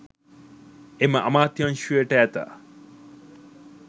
එම අමාත්‍යංශයට ඇත